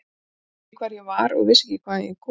Ég vissi ekki hver ég var og vissi ekki hvaðan ég kom.